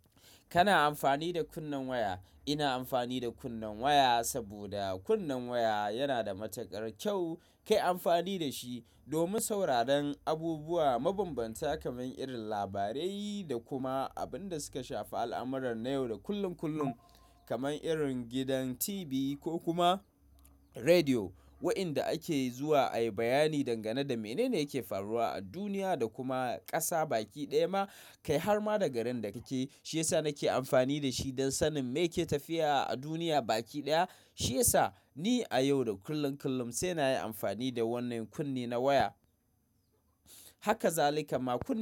Kana amfani da kunnen waya. Ina amfani da kunnen waya saboda kunnen waya yana da matukar kyau. Kai amfani da shi domin sauraron abubuwa mabambanta kamar irin labarai da kuma abin da suka shafi al'amuran na yau da kullum kullum kamar irin gidan TV ko kuma rediyo, waɗanda ake zuwa a yi bayani dangane da menene yake faruwa a duniya da kuma ƙasa baki ɗaya ma kai har ma da garin da kake. Shi yasa nake amfani da shi don sanin me yake tafiya a duniya baki ɗaya. Shi yasa ni a yau da kullum kullum sai na yi amfani da wannan kunne na waya. Haka zalika ma kunne.